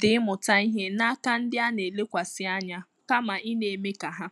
dị ịmụta ìhè n’áká ndị a na-elekwasị ànyà kama ị na-eme ka ha.